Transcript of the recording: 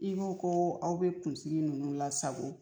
I ko ko aw be kunsigi ninnu lasago